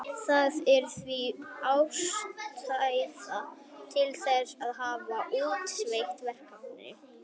Það er því full ástæða til þess að halda úti SETI-verkefni.